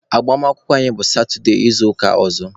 Agbamakwụkwọ anyị bụ satụde izuụka ọzọ.